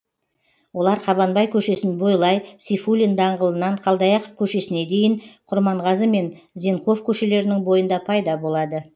олар қабанбай көшесін бойлай сейфуллин даңғылынан қалдаяқов көшесіне дейін құрманғазы мен зенков көшелерінің бойында пайда болады